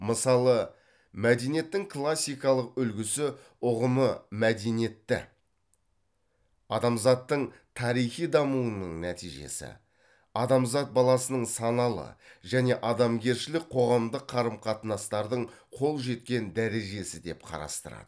мысалы мәдениеттің классикалық үлгісі ұғымы мәдениетті адамзаттың тарихи дамуының нәтижесі адамзат баласының саналы және адамгершілік қоғамдық қарым қатынастардың қол жеткен дәрежесі деп қарастырады